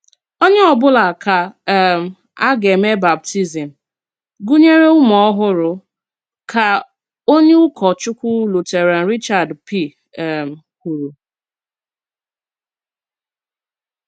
Onyé ọ̀bụ́là ká um a gà-èmè bàptízm, gụ̀nyèrè ùmù-òhùrù, ká onyé ụ̀kọ́chùkwù Lùtèràn Richard P. um kwùrù.